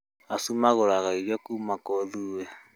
Acio magũraga irio kuuma kũrĩ ithuĩ